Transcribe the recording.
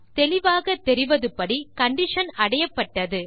தெளிவாக தெரிவதுபடி கண்டிஷன் அடையப்பட்டது